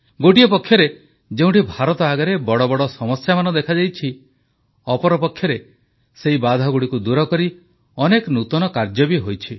ଏକ ପକ୍ଷରେ ଯେଉଁଠି ଭାରତ ଆଗରେ ବଡ଼ ବଡ଼ ସମସ୍ୟାମାନ ଦେଖାଦେଇଛି ଅପରପକ୍ଷରେ ସେ ବାଧାଗୁଡ଼ିକୁ ଦୂରକରି ଅନେକ ନୂତନ କାର୍ଯ୍ୟ ବି ହୋଇଛି